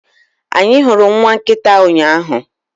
Anyị hụrụ nwa nkịta ụnyaahụ